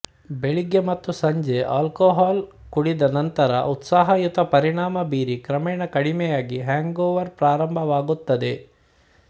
ಬೆಳಿಗ್ಗೆ ಮತ್ತು ಸಂಜೆ ಅಲ್ಕೊಹಾಲ್ ಕುಡಿದ ನಂತರ ಉತ್ಸಾಹಯುತ ಪರಿಣಾಮ ಬೀರಿ ಕ್ರಮೇಣ ಕಡಿಮೆಯಾಗಿ ಹ್ಯಾಂಗೊವರ್ ಪ್ರಾರಾಂಭವಾಗುತ್ತದೆ